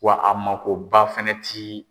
Wa a makoba fɛnɛ ti